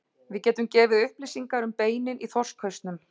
Við getum gefið upplýsingar um beinin í þorskhausnum.